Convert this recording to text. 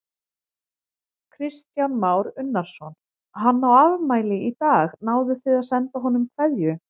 Kristján Már Unnarsson: Hann á afmæli í dag, náðuð þið að senda honum kveðju?